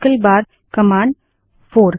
command 3 option 1 - option 2